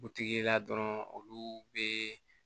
Butigi la dɔrɔn olu bɛ